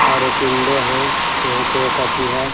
और एक इन्डे हैं यहाँ पे एक अथी है।